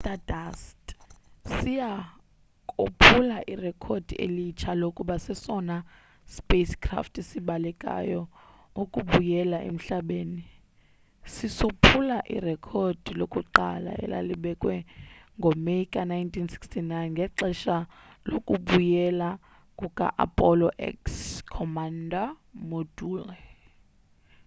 i-stardust siya kophula irekhodi elitsha lokuba sesona sipacecraft sibalekayo ukubuyela emhlabeni sisophula irekhodi lakuqala elalibekwe ngo meyi ka-1969 ngexesha lokubuyela kuka-apollo x command module